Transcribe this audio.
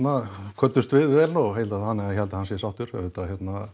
kvöddumst við vel og þannig að ég held að hann sé sáttur auðvitað